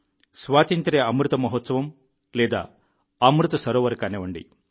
స్వాతంత్ర్య అమృత మహోత్సవం లేదా అమృత సరోవర్ కానివ్వండి